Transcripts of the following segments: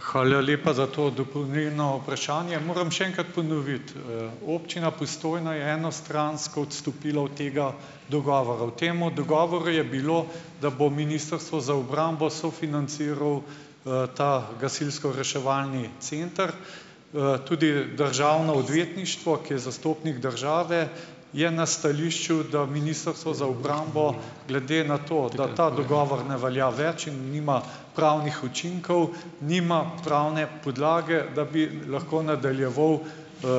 Hvala lepa za to dopolnilno vprašanje. Moram še enkrat ponoviti - občina Postojna je enostransko odstopila od tega dogovora. V tem dogovoru je bilo, da bo Ministrstvo za obrambo sofinanciralo, ta gasilsko-reševalni center. Tudi državno odvetništvo, ki je zastopnik države, je na stališču, da Ministrstvo za obrambo glede na to, da ta dogovor ne velja več in nima pravnih učinkov, nima pravne podlage, da bi lahko nadaljeval,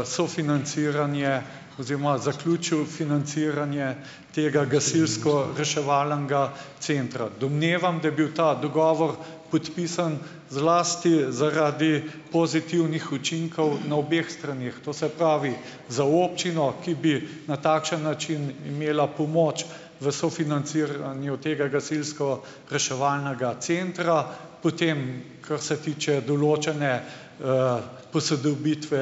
sofinanciranje oziroma zaključil financiranje tega gasilsko-reševalnega centra. Domnevam, da je bil ta dogovor podpisan zlasti zaradi pozitivnih učinkov na obeh straneh, to se pravi za občino, ki bi na takšen način imela pomoč v sofinanciranju tega gasilsko- reševalnega centra, potem, kar se tiče določene posodobitve,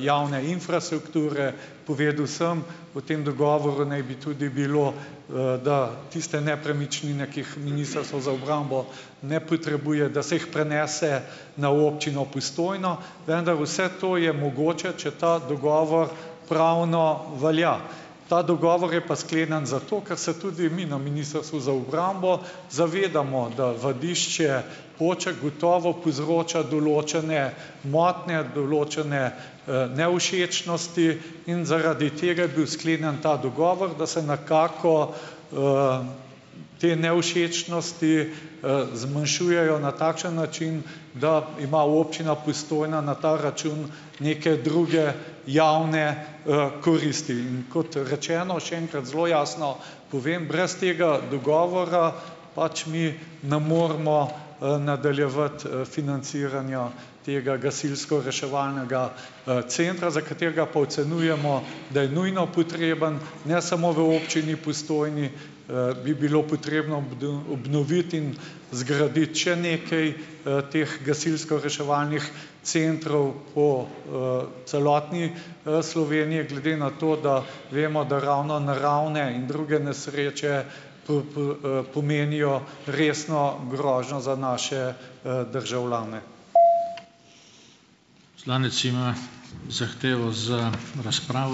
javne infrastrukture. Povedal sem, v tem dogovoru naj bi tudi bilo, da tiste nepremičnine, ki jih Ministrstvo za obrambo ne potrebuje, da se jih prenese na občino Postojno, vendar vse to je mogoče, če ta dogovor pravno velja. Ta dogovor je pa sklenjen zato, ker se tudi mi na Ministrstvu za obrambo zavedamo, da vadišče Poček gotovo povzroča določene motnje, določene, nevšečnosti in zaradi tega je bil sklenjen ta dogovor, da se nekako te nevšečnosti, zmanjšujejo na takšen način, da ima občina Postojna na ta račun neke druge javne, koristi, in kot rečeno, še enkrat zelo jasno povem - brez tega dogovora pač mi ne moremo, nadaljevati, financiranja tega gasilsko-reševalnega, centra, za katerega pa ocenjujemo, da je nujno potreben, ne samo v občini Postojni, bi bilo potrebno obnoviti in zgraditi še nekaj, teh gasilsko-reševalnih centrov po, celotni, Sloveniji. Glede na to, da vemo, da ravno naravne in druge nesreče pomenijo resno grožnjo za naše, državljane.